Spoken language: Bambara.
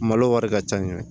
Malo wari ka ca